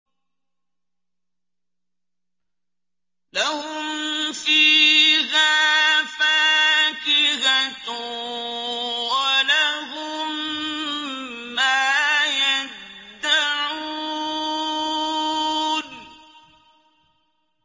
لَهُمْ فِيهَا فَاكِهَةٌ وَلَهُم مَّا يَدَّعُونَ